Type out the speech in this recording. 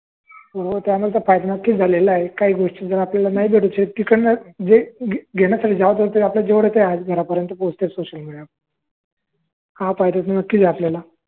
हो त्यानंतर काही झालेलं आहेत काही गोष्टी जर आपल्याला नाही घडवता येत घर पर्यंत पोचत सोशल मिडिया वर‌ हा फायदा नक्कीच झाला आहे आपल्याला